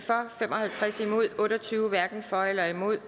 fem og halvtreds hverken for eller imod